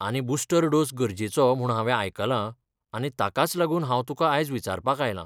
आनी booster dose गरजेचो म्हूण हांवे आयकलां, आनी ताकाच लागून हांव तुका आयज विचारपाक आयलां.